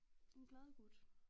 En glad gut